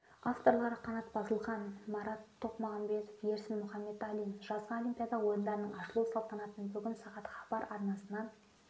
авторлары қанат базылхан марат тоқмағамбет ерсін мұхамбеталин жазғы олимпиада ойындарының ашылу салтанатын бүгін сағат хабар арнасынан